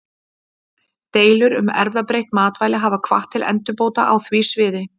Deilur um erfðabreytt matvæli hafa hvatt til endurbóta á því sviði.